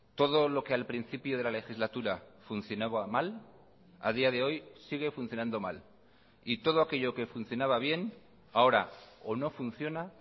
todo lo que al principio de la legislatura funcionaba mal a día de hoy sigue funcionando mal y todo aquello que funcionaba bien ahora o no funciona